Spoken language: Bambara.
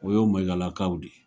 O y'o Maigalakaw de